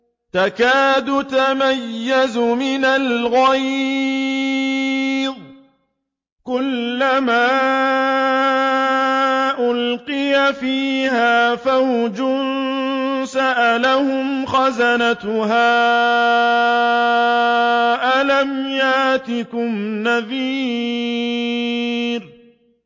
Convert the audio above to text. تَكَادُ تَمَيَّزُ مِنَ الْغَيْظِ ۖ كُلَّمَا أُلْقِيَ فِيهَا فَوْجٌ سَأَلَهُمْ خَزَنَتُهَا أَلَمْ يَأْتِكُمْ نَذِيرٌ